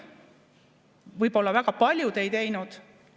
Võib-olla väga paljud ei teinud.